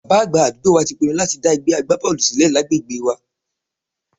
Bàbá àgbà àdúgbò wa ti pinnu láti dá ẹgbẹ́ agbábọ́ọ̀lù sílẹ̀ lágbègbè wa